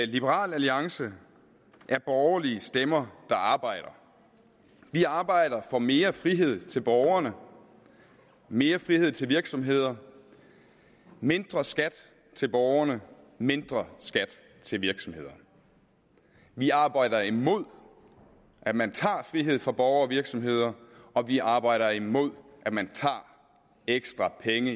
liberal alliance er borgerlige stemmer der arbejder vi arbejder for mere frihed til borgerne mere frihed til virksomhederne mindre skat til borgerne og mindre skat til virksomhederne vi arbejder imod at man tager frihed fra borgere og virksomheder og vi arbejder imod at man tager ekstra penge